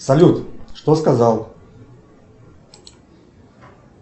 салют что сказал